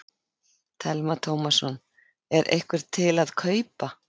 Telma Tómasson: Er einhver til að kaupa?